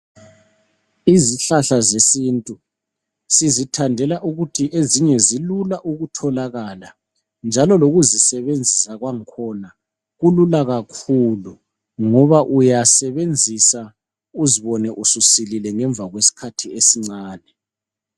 Izihlahla zesintu sizithandela ukuthi ezinye zilula ukutholakala njalo lokuzisebenzisa kwakhona kulula kakhulu ngoba uyasebenzisa uzibone ususilile ngemva kwesikhathi esincane